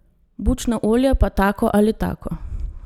Bučno olje pa tako ali tako.